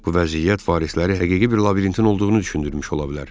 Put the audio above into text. Bu vəziyyət varisləri həqiqi bir labirintin olduğunu düşündürmüş ola bilər.